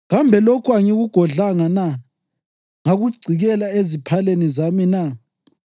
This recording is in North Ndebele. ‘Kambe lokhu angikugodlanga na ngakugcikela eziphaleni zami na?